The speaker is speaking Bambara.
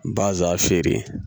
Baza feere